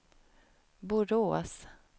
Borås